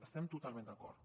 hi estem totalment d’acord